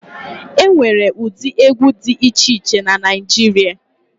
E nwere ụdị egwu dị iche iche na Naịjirịa.